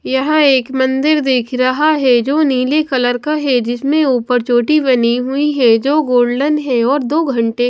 यहां एक मंदिर दिख रहा है जो नीले कलर का है जिसमें ऊपर चोटी बनी हुई है जो गोल्डन है और दो घंटे--